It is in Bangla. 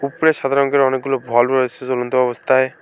উপরে সাদা রঙের অনেকগুলো ভল্ব রয়েছে জ্বলন্ত অবস্থায়।